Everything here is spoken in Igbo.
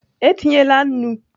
E tinyela nnu!